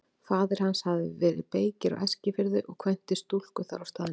Faðir hans hafði verið beykir á Eskifirði og kvæntist stúlku þar á staðnum.